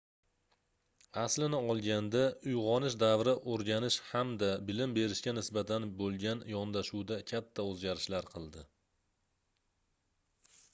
aslini olganda uygʻonish davri oʻrganish hamda bilim berishga nisbatan boʻlgan yondashuvda katta oʻzgarishlar qildi